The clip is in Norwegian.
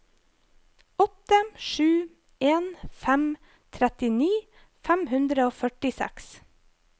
åtte sju en fem trettini fem hundre og førtiseks